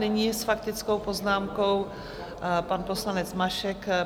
Nyní s faktickou poznámkou pan poslanec Mašek.